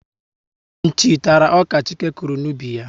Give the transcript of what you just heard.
Nchi tara ọka Chike kụrụ n'ubi ya